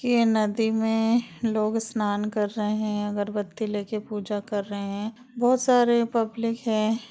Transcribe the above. ये नदी में लोग स्नान कर रहे हैं अगरबत्ती लेकर पूजा कर रहे है बोहोत सारे पब्लिक हैं। -